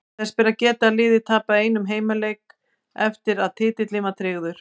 Þess ber að geta að liðið tapaði einum heimaleik eftir að titillinn var tryggður.